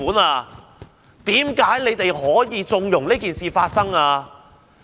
為何政府可以縱容這件事發生呢？